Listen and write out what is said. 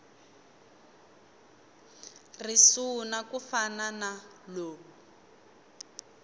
risuna ku fana na lowu